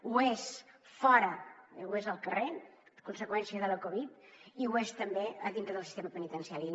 ho és fora ho és el carrer conseqüència de la covid i ho és també a dintre del sistema penitenciari